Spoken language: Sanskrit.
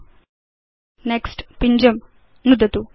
38 000314 00316019 नेक्स्ट् पिञ्जं नुदतु